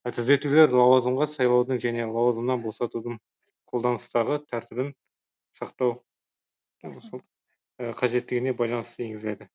түзетулер лауазымға сайлаудың және лауазымнан босатудың қолданыстағы тәртібін сақтау қажеттігіне байланысты енгізіледі